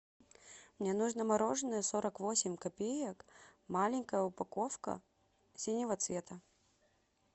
мне нужно мороженое сорок восемь копеек маленькая упаковка синего цвета